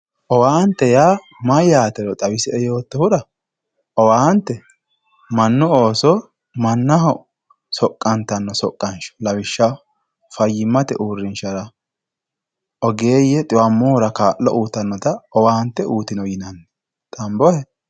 owaante yaa mayyaatero xawisie yoottohura owaante mannu ooso mannaho soqqantanno soqqanshsho lawishshaho fayyimate uurrinshshawa ogeeye dhiwammohura kaa'lo uytaanota owaante uytino yinanni xambohe